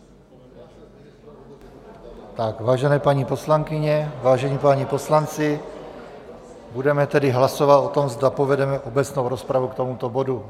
Vážené paní poslankyně, vážení páni poslanci, budeme tedy hlasovat o tom, zda povedeme obecnou rozpravu k tomuto bodu.